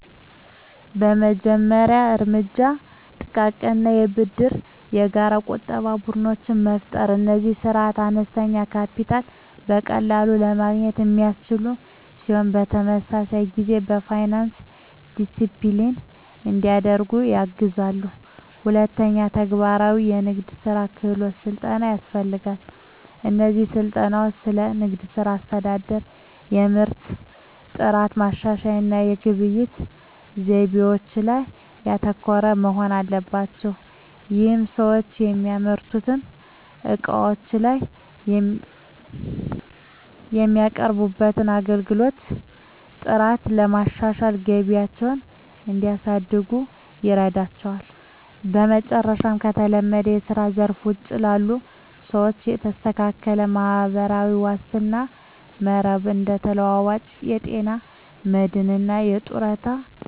የመጀመሪያው እርምጃ ጥቃቅን የብድርና የጋራ ቁጠባ ቡድኖችን መፍጠር ነው። እነዚህ ስርዓቶች አነስተኛ ካፒታልን በቀላሉ ለማግኘት የሚያስችሉ ሲሆን፣ በተመሳሳይ ጊዜ የፋይናንስ ዲሲፕሊን እንዲዳብር ያግዛሉ። ሁለተኛ፣ ተግባራዊ የንግድ ክህሎት ስልጠናዎች ያስፈልጋሉ። እነዚህ ስልጠናዎች ስለ ንግድ ሥራ አስተዳደር፣ የምርት ጥራት ማሻሻያ እና የግብይት ዘይቤዎች ላይ ያተኮሩ መሆን አለባቸው። ይህም ሰዎች የሚያመርቱትን ዕቃዎች ወይም የሚያቀርቡትን አገልግሎት ጥራት በማሻሻል ገቢያቸውን እንዲያሳድጉ ይረዳቸዋል። በመጨረሻም፣ ከተለመደው የስራ ዘርፍ ውጪ ላሉ ሰዎች የተስተካከለ ማህበራዊ ዋስትና መረብ (እንደ ተለዋዋጭ የጤና መድህን እና የጡረታ ዕቅዶች) መዘርጋት ወሳኝ ነው።